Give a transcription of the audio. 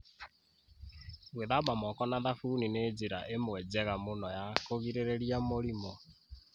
Gwíthamba moko na thabuni nĩ njĩra ĩmwe njega mũno ya kũgirĩrĩria mũrimũ.